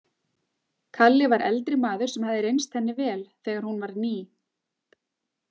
Kalli var eldri maður sem hafði reynst henni vel þegar hún var ný.